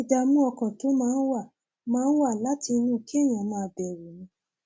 ìdààmú ọkàn tó máa ń wá máa ń wá láti inú kéèyàn máa bẹrù ni